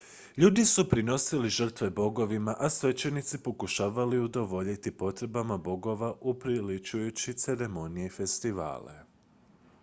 ljudi su prinosili žrtve bogovima a svećenici pokušavali udovoljiti potrebama bogova upriličujući ceremonije i festivale